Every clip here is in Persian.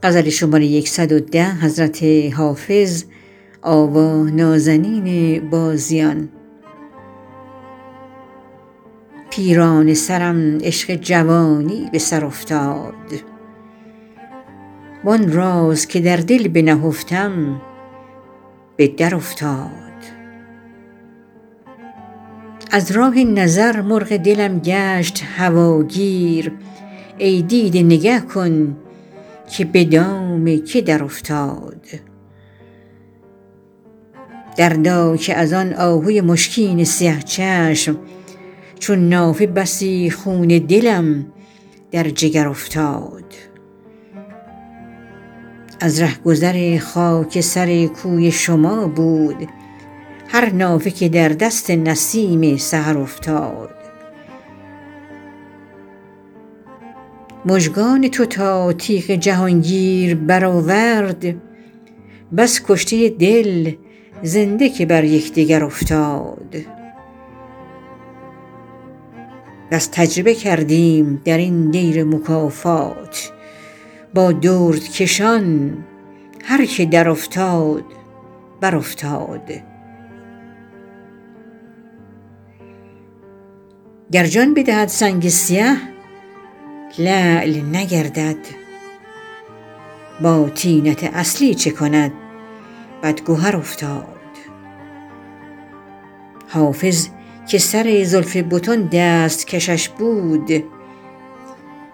پیرانه سرم عشق جوانی به سر افتاد وآن راز که در دل بنهفتم به درافتاد از راه نظر مرغ دلم گشت هواگیر ای دیده نگه کن که به دام که درافتاد دردا که از آن آهوی مشکین سیه چشم چون نافه بسی خون دلم در جگر افتاد از رهگذر خاک سر کوی شما بود هر نافه که در دست نسیم سحر افتاد مژگان تو تا تیغ جهانگیر برآورد بس کشته دل زنده که بر یکدگر افتاد بس تجربه کردیم در این دیر مکافات با دردکشان هر که درافتاد برافتاد گر جان بدهد سنگ سیه لعل نگردد با طینت اصلی چه کند بدگهر افتاد حافظ که سر زلف بتان دست کشش بود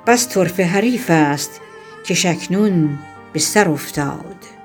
بس طرفه حریفی ست کش اکنون به سر افتاد